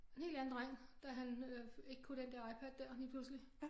En helt anden dreng da han øh ikke kunne den der iPad der lige pludselig